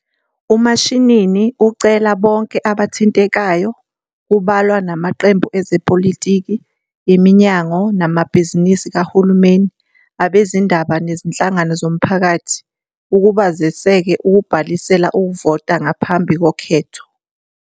UMashinini ucela bonke abathintekayo, kubalwa namaqembu ezepolitiki, iminyango namabhizinisi kahulumeni, abezindaba nezinhlangano zomphakathi ukuba ziseke ukubhalisela ukuvota ngaphambi kokhetho.